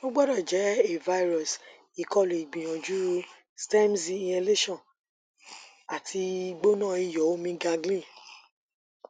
o gbọdọ jẹ a virus ikolu gbiyanju stems inhalation ati gbona iyọ omi gargling